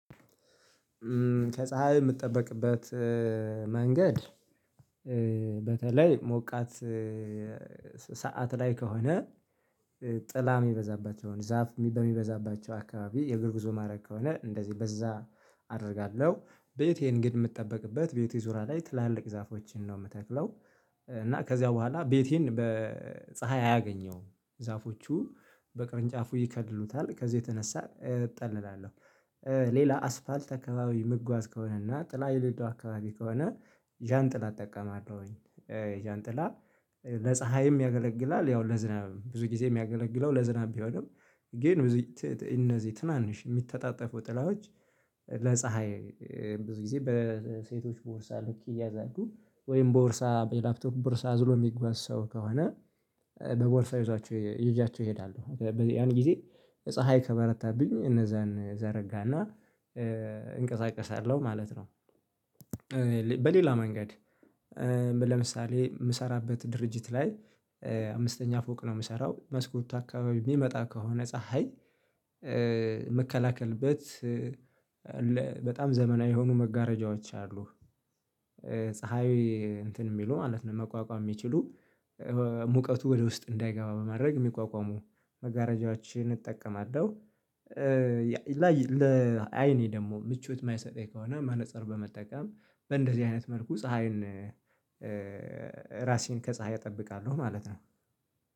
ከፀሀይ የምጠበቅበት መንገድ። በተለይ ሞቃት ሰዓት ላይ ከሆነ። ጥላ የሚበዛባቸውን ዛፍ በሚበዛባቸው አካባቢ የእግር ጉዞ ማድረግ ከሆነ እንደዚህ በዛ አደርጋለሁ ቤቴን ግን የምትጠብቅበት ቤቴ ዙሪያ ላይ ትላልቅ ዛፎችን ነው የምተክለው። እና ከዚያ በኋላ ቤቴን በፀሀይ አያገኘውም ዛፎቹ በቅርንጫፉ ይከድሉታል ከዚህ የተነሳ እጠልላለሁ። ሌላ አስፓልት አካባቢ ምጓዝ ከሆነ እና ጥላ የሌለዉደ አካባቢ ከሆነ ዣን ጥላ እጠቀማለሁኝ። ዣን ጥላ ለፀሀይም ያገለግላል ያው ለዝናብ ብዙ ጊዜ የሚያገለግለው ለዝናብ ቢሆንም ግን እነዚህ ትናንሽ የሚተጣጠፉ ጥላዎች። ለፀሀይ ብዙ ጊዜ በሴቶች ቦርሳ ልክ እያዛችሁ ወይም ቦርሳ የላፕቶክ ቦርሳ አዝሮ የሚጐዝ ሰው ከሆነ በቦርሳ ይዟቸው እሄዳሉ። ያን ጊዜ ፀሀይ ከበረታብኝ እነዛን እዘረጋና እንቀሳቀሳለሁ ማለት ነው። በሌላ መንገድ። ለምሳሌ የምሰራበት ድርጅት ላይ አምስተኛ ፎቅ ነው የምሰራው መስኮቱ አካባቢ የሚመጣ ከሆነ ፀሀይ ምከላከልበት በጣም ዘመናዊ የሆኑ መጋረጃዎች አሉ። ፀሀይ እንትን የሚሉ ማለት ነው መቋቋም የሚችሉ ሙቀቱ ወደ ውስጥ እንዳይገባ በማድረግ የሚቋቋሙ መጋረጃዎችን እጠቀማለሁ። ላይ ለአይኔ ደግሞ ምቾት የማይሰጠኝ ከሆነ መነፀር በመጠቀም በእንደዚህ አይነት መልኩ ፀሀይን ራሴን ከፀሀይ እጠብቃለሁ ማለት ነው